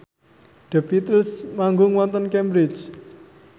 The Beatles manggung wonten Cambridge